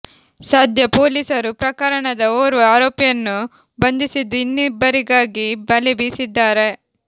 ಸದ್ಯ ಪೊಲೀಸರು ಪ್ರಕರಣದ ಓರ್ವ ಆರೋಪಿಯನ್ನು ಬಂಧಿಸಿದ್ದು ಇನ್ನಿಬ್ಬರಿಗಾಗಿ ಬಲೆ ಬೀಸಿದ್ದಾರೆ